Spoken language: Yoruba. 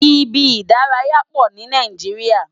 Ibi idàráyá pó ni Nàijiriá